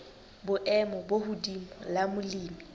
boemo bo hodimo la molemi